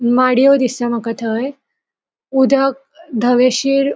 माडीयो दिसता मका थय उदक दवेशिर --